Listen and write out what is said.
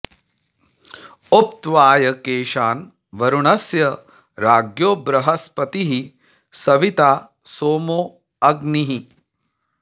उ॒प्त्वाय॒ केशा॒न्॒ वरु॑णस्य॒ राज्ञो॒ बृह॒स्पतिः॑ सवि॒ता सोमो॑ अ॒ग्निः